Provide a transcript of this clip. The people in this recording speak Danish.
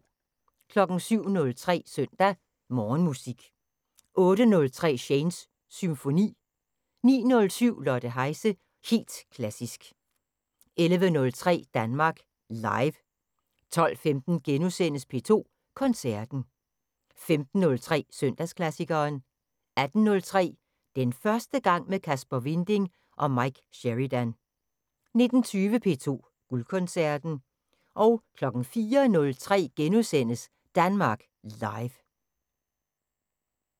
07:03: Søndag Morgenmusik 08:03: Shanes Symfoni 09:07: Lotte Heise – helt klassisk 11:03: Danmark Live 12:15: P2 Koncerten * 15:03: Søndagsklassikeren 18:03: Den første gang med Kasper Winding og Mike Sheridan 19:20: P2 Guldkoncerten 04:03: Danmark Live *